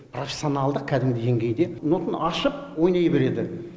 профессионалдық кәдімгі деңгейде нотаны ашып ойнай береді